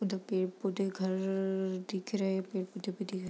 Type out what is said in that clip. इधर पेड़-पौधे घर दिख रहे हैं पेड़-पौधे भी दिख रहे।